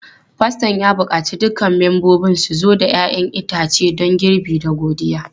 Faston ya buƙaci dukkan membobin su zo da 'ya'yan itace don girbi da godiya.